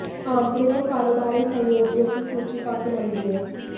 आंतरिक और कारोबारी सहयोगियों की सूची काफी लंबी है